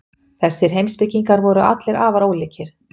Þessir heimspekingar voru allir afar ólíkir.